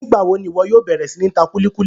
Nigbawo ni iwọ yóò bẹrẹ si ni ta kuli kuli?